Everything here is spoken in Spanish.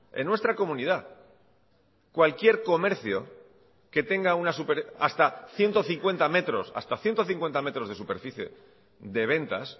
en nuestra comunidad cualquier comercio que tenga hasta ciento cincuenta metros hasta ciento cincuenta metros de superficie de ventas